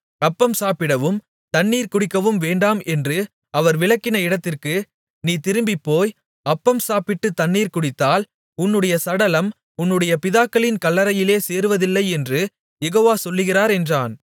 அப்பம் சாப்பிடவும் தண்ணீர் குடிக்கவும் வேண்டாம் என்று அவர் விலக்கின இடத்திற்கு நீ திரும்பிப் போய் அப்பம் சாப்பிட்டுத் தண்ணீர் குடித்ததால் உன்னுடைய சடலம் உன்னுடைய பிதாக்களின் கல்லறையிலே சேருவதில்லை என்று யெகோவா சொல்லுகிறார் என்றான்